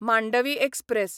Mandovi express